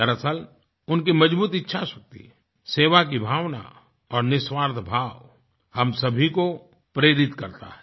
दरअसल उनकी मजबूत इच्छाशक्ति सेवा की भावना और निस्वार्थभाव हम सभी को प्रेरित करता है